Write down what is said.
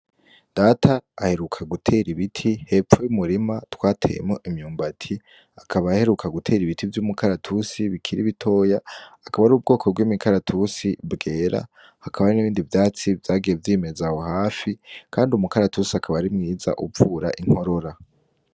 Data aheruka guter'ibiti hepfo y'umurima twateyemwo imyumbati akaba aheruka guter'ibiti vy'umukaratusi bikiri bitoya , akaba ar'ubwoko bw'imikaratusi bwera. Hakaba hariho n'ibindi vyatsi vyagiye vyimeza aho hafi kandi umukaratusi akaba ari mwiza uvura inkorora.